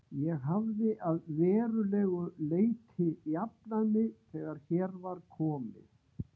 Ég hafði að verulegu leyti jafnað mig þegar hér var komið.